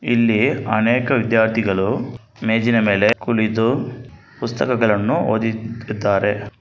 ಇಲ್ಲಿ ಅನೇಕ ವಿದ್ಯಾರ್ಥಿಗಳು ಮೇಜಿನ ಮೇಲೆ ಕುಳಿತು ಪುಸ್ತಕಗಳನ್ನು ಓದಿತಿರುತ್ತಾರೆ.